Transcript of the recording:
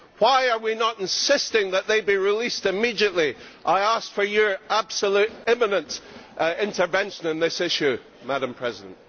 Why are we not insisting that they be released immediately? I ask for your absolute immediate intervention on this issue, Madam President.